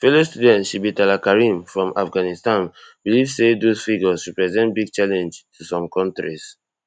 fellow student sibghatullah karimi from afghanistan believe say those figures represent big challenge to some kontris